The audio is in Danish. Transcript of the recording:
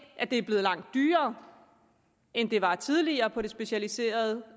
at det er blevet langt dyrere end det var tidligere på det specialiserede